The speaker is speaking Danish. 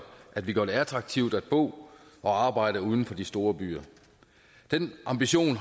at vi gør det attraktivt at bo og arbejde uden for de store byer den ambition